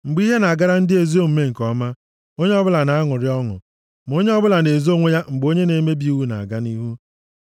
Mgbe ihe na-agara ndị ezi omume nke ọma, onye ọbụla na-aṅụrị ọṅụ, ma onye ọbụla na-ezo onwe ya mgbe onye na-emebi iwu na-aga nʼihu.